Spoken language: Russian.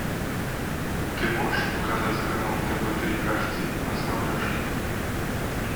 ты можешь показать канал тв три ашди на смотрешке